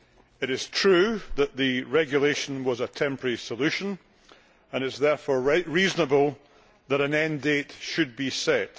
It is true that the regulation was a temporary solution and it is therefore reasonable that an end date should be set.